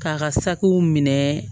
K'a ka sakiw minɛ